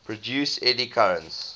produce eddy currents